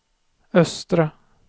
östra